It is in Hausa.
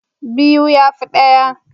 Biyu ya fi ɗaya.